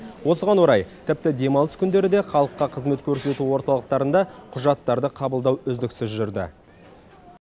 осыған орай тіпті демалыс күндері де халыққа қызмет көрсету орталықтарында құжаттарды қабылдау үздіксіз жүрді